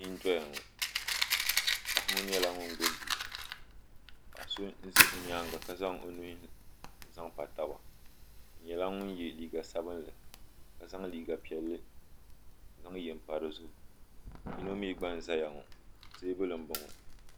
Bia n doya ŋɔ paɣa ŋɔ nyɛla ŋun gbibi bia ŋɔ paɣa so n za o nyaanga ka zaŋ o nuhi n zaŋ pa taba o nyɛla ŋun ye liiga sabinli ka zaŋ liiga piɛlli n zaŋ ye m pa dizuɣu yino mee gba n zaya ŋɔ teebuli m boŋɔ.